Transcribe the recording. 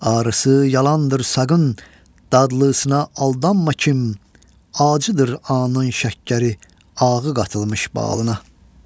Ağrısı yalandır saqın, dadlısına aldanma kim, acıdır anın şəkkəri, ağı qatılmış balına.